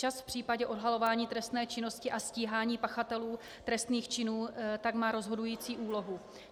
Čas v případě odhalování trestné činnosti a stíhání pachatelů trestných činů tak má rozhodující úlohu.